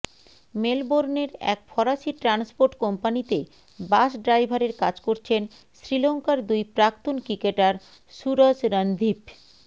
মেলবোর্নের এক ফরাসি ট্রান্সপোর্ট কোম্পানিতে বাস ড্রাইভারের কাজ করছেন শ্রীলঙ্কার দুই প্রাক্তন ক্রিকেটার সুরজ রনদীভ